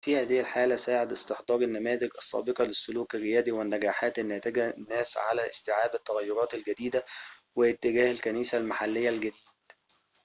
في هذه الحالة ساعد استحضار النماذج السابقة للسلوك الريادي والنجاحات الناتجة الناس على استيعاب التغيّرات الجديدة واتجاه الكنيسة المحليّة الجديد